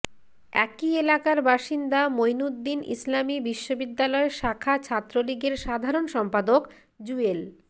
একই এলাকার বাসিন্দা মঈনুদ্দিন ইসলামী বিশ্ববিদ্যালয় শাখা ছাত্রলীগের সাধারণ সম্পাদক জুয়েল